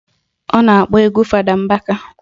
Ọ na-akpọ egwu Fada Mbaka